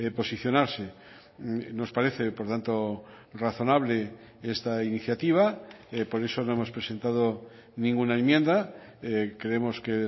posicionarse nos parece por tanto razonable esta iniciativa por eso no hemos presentado ninguna enmienda creemos que